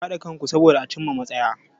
Ku haɗa kanku soboda a cin ma matsaya.